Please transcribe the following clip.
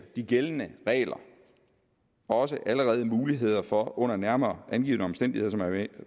de gældende regler også allerede muligheder for under nærmere angivne omstændigheder som jeg